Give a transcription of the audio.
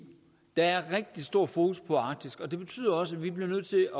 der er rigtig stor fokus på arktis og det betyder også at vi bliver nødt til